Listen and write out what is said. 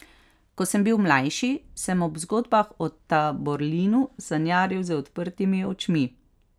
Ko sem bil mlajši, sem ob zgodbah o Taborlinu sanjaril z odprtimi očmi.